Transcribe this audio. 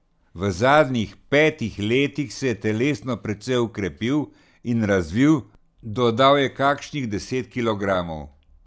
V zadnjih petih letih se je telesno precej okrepil in razvil, dodal je kakšnih deset kilogramov.